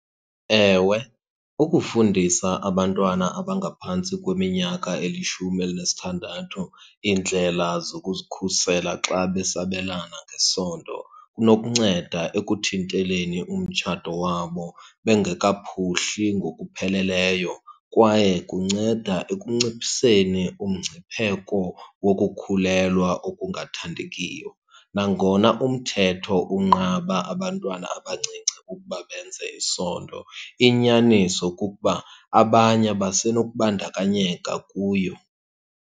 Ewe, ukufundisa abantwana abangaphantsi kweminyaka elishumi elinesithandathu iindlela zokuzikhusela xa besabelana ngesondo kunokunceda ekuthinteleni umtshato wabo bengekaphuhli ngokupheleleyo kwaye kunceda ekunciphiseni umngcipheko wokukhulelwa okungathandekiyo. Nangona umthetho unqaba abantwana abancinci ukuba benze isondo, inyaniso kukuba abanye basenokubandakanyeka kuyo.